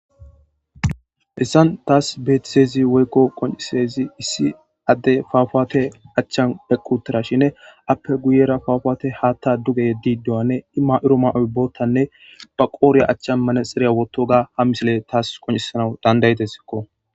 Haysan tas betizaysi woyko qonxizaysi issi adey mamate achan eqi uttidashin appe guye bagara mamatey Hatha duge yedidonne I mayifo mayoy boothanne ba qodhe achan manaxiere wothoga ha misiley tas qoncisana danda'idesko